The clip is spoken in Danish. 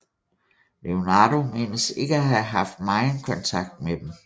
Leonardo menes ikke at have haft megen kontakt med dem